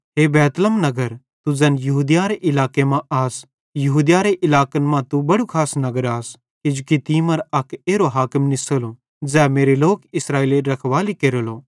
हे Bethlehem नगर तू ज़ैन यहूदिया इलाके मां आस यहूदियारे इलाकन मां तू बड़ू खास नगर आस किजोकि तीं मरां अक एरो हाकिम निसेलो ज़ै मेरे लोक इस्राएलेरी हेरगेश केरेलो